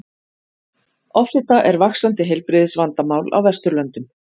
offita er vaxandi heilbrigðisvandamál á vesturlöndum